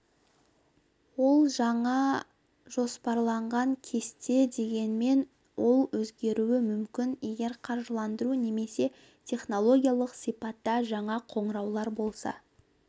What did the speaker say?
ол жаңа жоспарланған кесте дегенмен ол өзгеруі мүмкін егер қаржыландыру немесе технологиялық сипатта жаңа қоңыраулар болса